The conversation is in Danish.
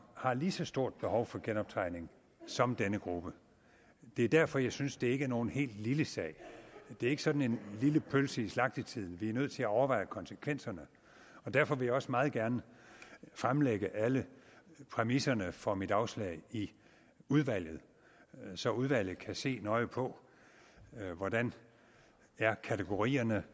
har lige så stort behov for genoptræning som denne gruppe det er derfor jeg synes at det ikke er nogen helt lille sag det er ikke sådan en lille pølse i slagtetiden og vi er nødt til at overveje konsekvenserne derfor vil jeg også meget gerne fremlægge alle præmisserne for mit afslag i udvalget så udvalget kan se nøje på hvordan kategorierne